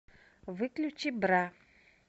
выключи бра